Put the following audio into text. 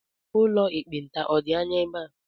Ụlọ ekpenta ọ̀ dị anya n'ebe a?